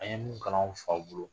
An ye min kalan faw bolo